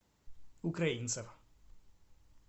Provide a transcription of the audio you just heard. украинцев